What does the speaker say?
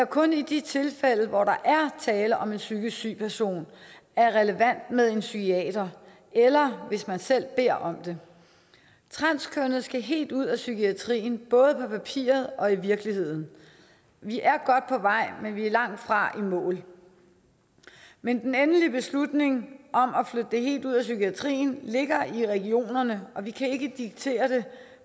kun i de tilfælde hvor der er tale om en psykisk syg person er relevant med en psykiater eller hvis man selv beder om det transkønnede skal helt ud af psykiatrien både på papiret og i virkeligheden vi er godt på vej men vi er langtfra i mål men den endelige beslutning om at flytte det helt ud af psykiatrien ligger i regionerne og vi kan ikke diktere det